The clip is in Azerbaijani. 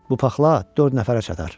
Bu paxla dörd nəfərə çatar.